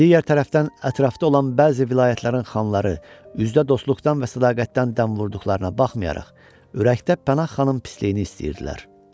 Digər tərəfdən ətrafda olan bəzi vilayətlərin xanları üzdə dostluqdan və sədaqətdən dəm vurduqlarına baxmayaraq, ürəkdə Pənah xanın pisliyini istəyirdilər.